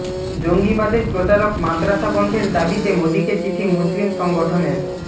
জঙ্গিবাদের প্রচারক মাদ্রাসা বন্ধের দাবিতে মোদীকে চিঠি মুসলিম সংগঠনের